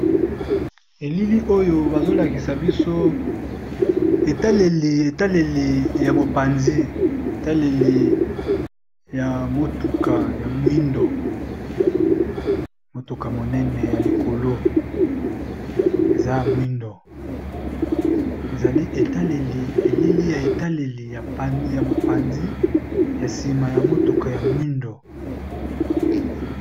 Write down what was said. Elili oyo bazolakisa biso ammouka monene ya likolo eaya mwindo eali etaleli elili ya etaleli ya mopanzi ya nsima ya motuka ya mwindo.